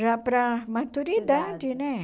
Já para maturidade, né?